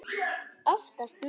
Oftast nær